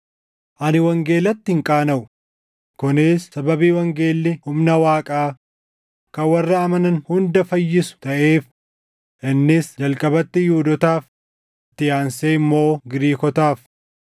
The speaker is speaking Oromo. Ani wangeelatti hin qaanaʼu; kunis sababii wangeelli humna Waaqaa kan warra amanan hunda fayyisu taʼeef; innis jalqabatti Yihuudootaaf, itti aansee immoo Giriikotaaf.